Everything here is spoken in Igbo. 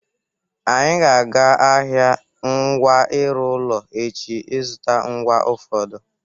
Anyị ga-aga ahịa ngwa ịrụ ụlọ echi ịzụta ngwa ụfọdụ.